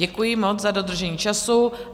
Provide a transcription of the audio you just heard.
Děkuji moc za dodržení času.